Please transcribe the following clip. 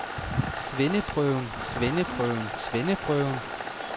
svendeprøven svendeprøven svendeprøven